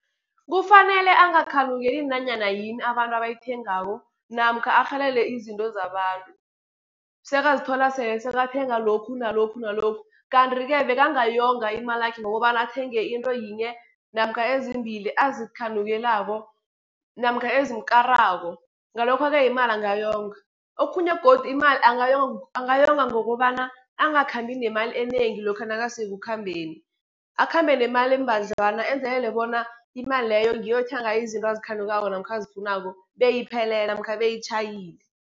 Kufanele angakhanukeli nanyana yini abantu abayithengako, namkha arhalele izinto zabantu. Sekazithola sele sekathenga lokhu nalokhu, nalokhu kantri-ke bekangayonga imalakhe, ngokobana athenge into yinye, namkha ezimbili azikhanukelako namkha ezimkarako, ngalokho-ke imali angayonga. Okhunye godu imali angayonga ngokobana angakhambi nemali enengi lokha nakasekukhambeni, akhambe nemali embadlwana enzelele bona imali leyo, ngiyo ayokuthenga ngayo izinto azikhanukako namkha azifunako, beyiphelele namkha beyitjhayile.